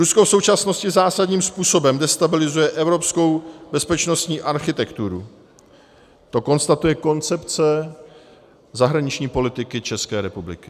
Rusko v současnosti zásadním způsobem destabilizuje evropskou bezpečnostní architekturu, to konstatuje koncepce zahraniční politiky České republiky.